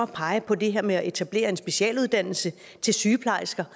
pege på det her med at etablere en specialuddannelse til sygeplejersker